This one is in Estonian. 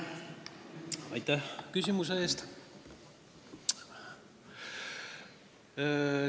Aitäh küsimuse eest!